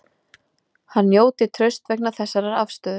Hann njóti trausts vegna þessarar afstöðu